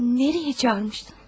Haraya çağırmışdın?